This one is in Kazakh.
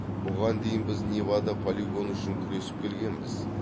бұған дейін біз невада полигоны үшін күресіп келгенбіз